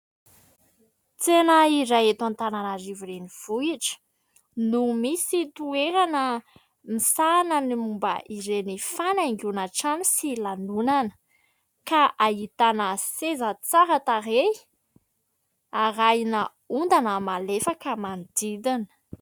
Tsena iray eto Antananarivo renivohitra no misy toerana misahana ny momba ireny fanaingoana trano sy lanonana ka ahitana seza tsara tarehy, arahina ondana malefaka manodidina.